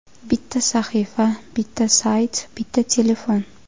Bitta sahifa, bitta sayt, bitta telefon.